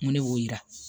N ko ne y'o yira